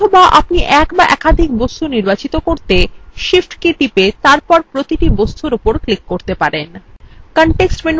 অথবা আপনি এক অথবা একাধিক বস্তু নির্বাচন করতে shift key টিপে তারপর প্রতিটি বস্তুর উপর ক্লিক করতে পারেন